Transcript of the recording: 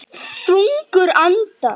Þungur andar